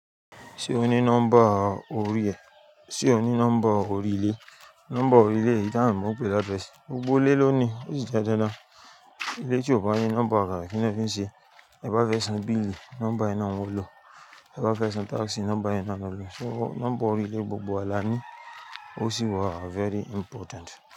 Ṣé o ní nọ́mbà orí ẹ? Sé o ní nọ́mbà orí ile? Nọ́mbà orílẹ̀ yí taa ma n pé ni address. Gbogbo ilé ló ní, ó sì jẹ́ dandan. Ilé tí ó bá ní nọ́mbà ah ki ni wọn fi nse, ti ẹ bá fẹ́ san bíìlì, nọ́mbà yẹ náà ńi wọn alọ, ti ẹ bá fẹ́ san táàsì, nọ́mbà yẹ náà ńi a lọ. So nọ́mbà oríle gbogbo wa làní osi wà very important.